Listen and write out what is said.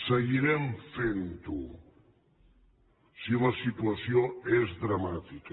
seguirem fent ho si la situació és dramàtica